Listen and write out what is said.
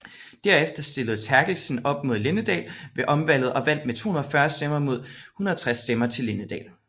Derefter stillede Therkelsen op mod Linddahl ved omvalget og vandt med 240 stemmer mod 160 stemmer til Linddahl